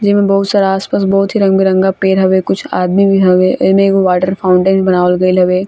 जे में बहुत सारा आस-पास बहुत ही रंग-बिरंगा पेड़ हवे कुछ आदमी भी हवे एमे एगो वाटर फाउंटेन बनावल गेल हवे।